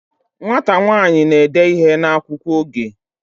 Nwata nwanyi n'ede ihe n'akwukwo oge